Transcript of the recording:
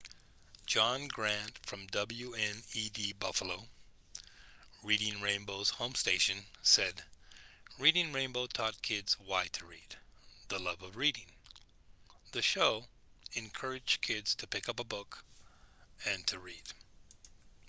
john grant from wned buffalo reading rainbow's home station said reading rainbow taught kids why to read,... the love of reading — [the show] encouraged kids to pick up a book and to read.